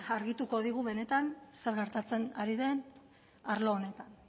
argituko digu benetan zer gertatzen ari den arlo honetan